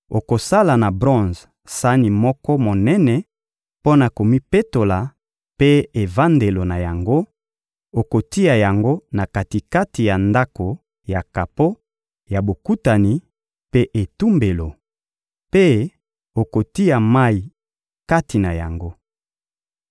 — Okosala na bronze sani moko monene mpo na komipetola mpe evandelo na yango; okotia yango na kati-kati ya Ndako ya kapo ya Bokutani mpe etumbelo, mpe okotia mayi kati na yango.